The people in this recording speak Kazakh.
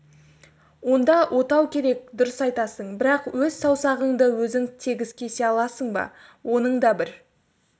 онда отау керек дұрыс айтасың бірақ өз саусағыңды өзің тегіс кесе аласың ба оның да бір